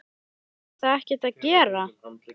Fá þeir þá ekkert að gera?